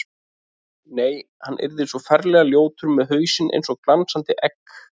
Nei, hann yrði svo ferlega ljótur með hausinn eins og glansandi egg.